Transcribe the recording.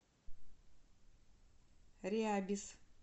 рябис